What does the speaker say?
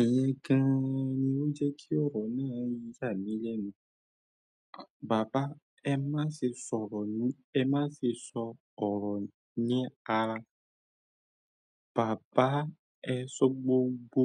Ẹ̀yin gan ni ó jẹ́ kí ọ̀rọ̀ náà yà mí lẹ́nu. Bàbá ẹ má ṣe sọ̀rọ̀ ní ara, bàbá ẹ sọ gbogbo